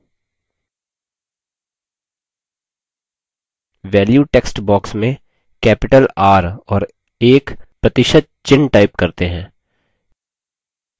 value text box में capital r और एक प्रतिशत चिन्ह type करते हैं